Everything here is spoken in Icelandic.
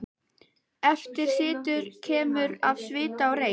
Eftir situr keimur af svita og reyk.